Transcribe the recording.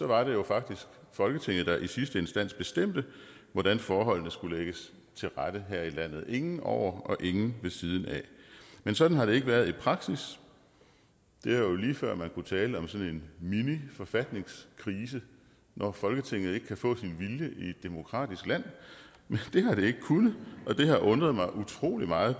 var det jo faktisk folketinget der i sidste instans bestemte hvordan forholdene skulle lægges til rette her i landet ingen over og ingen ved siden af men sådan har det ikke været i praksis det er jo lige før at man kunne tale om sådan en miniforfatningskrise når folketinget ikke kan få sin vilje i et demokratisk land men det har det ikke kunnet og det har undret mig utrolig meget